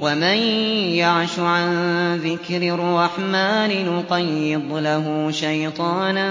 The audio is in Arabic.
وَمَن يَعْشُ عَن ذِكْرِ الرَّحْمَٰنِ نُقَيِّضْ لَهُ شَيْطَانًا